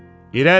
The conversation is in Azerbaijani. İrəli!